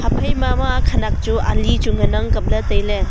haphai ma khanak chu ali ngan ang kapley tai ley.